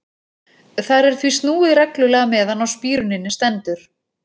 Þar er því snúið reglulega meðan á spíruninni stendur.